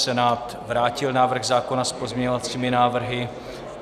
Senát vrátil návrh zákona s pozměňovací návrhy.